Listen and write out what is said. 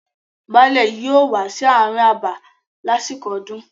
Baálẹ̀ yóò wà sí àárín abà lásìkò ọdún.